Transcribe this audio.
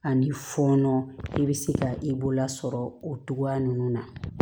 Ani fɔɔnɔ i bɛ se ka i bolola sɔrɔ o togoya ninnu na